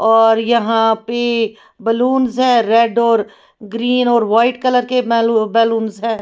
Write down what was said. और यहां पे बलूंस हैं रेड और ग्रीन और वाइट कलर के बेल बलूंस है।